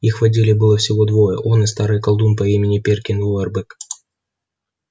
их в отделе было всего двое он и старый колдун по имени перкин уорбек